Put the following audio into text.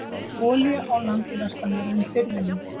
Olía á land í vestanverðum firðinum